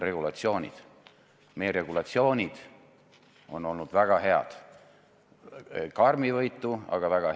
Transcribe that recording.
Seda probleemi defineeritakse loomulikult ümber ja nüüd on näiteks Swedbank hambus.